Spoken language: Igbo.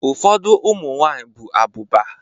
Ufodu umunwanyi bu abuba